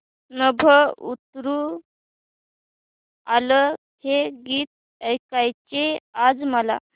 नभं उतरू आलं हे गीत ऐकायचंय आज मला